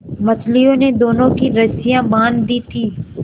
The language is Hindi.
मछलियों ने दोनों की रस्सियाँ बाँध दी थीं